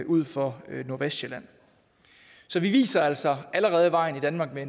ud for nordvestsjælland så vi viser altså allerede vejen i danmark med